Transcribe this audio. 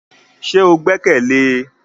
Ṣe o gbẹkẹle e?